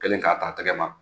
Cɛ Kɛlen k'a t'a tɛgɛ ma